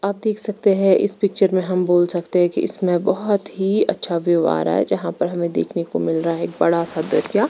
आप देख सकते है इस पिक्चर मे हम बोल सकते है की इसमे बहुत ही अच्छा व्यू आ रहा है जहां पर हमे देखने को मिल रहा है एक बड़ा सा दर्या।